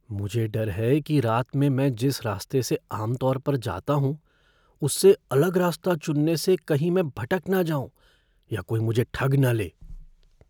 मुझे डर है कि रात में मैं जिस रास्ते से आम तौर पर जाता हूँ, उससे अलग रास्ता चुनने से कहीं मैं भटक न जाऊं या कोई मुझे ठग न ले।